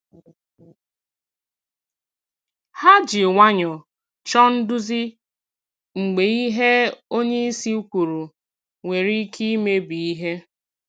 Ha ji nwayọọ chọọ nduzi mgbe ihe onyeisi kwuru nwere ike imebi ihe.